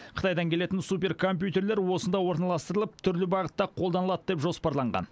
қытайдан келетін суперкомпьютерлер осында орналастырылып түрлі бағытта қолданылады деп жоспарланған